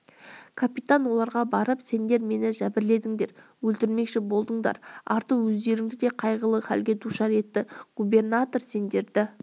капитан оларға барып сендер мені жәбірледіңдер өлтірмекші болдыңдар арты өздеріңді де қайғылы хәлге душар етті губернатор сендерді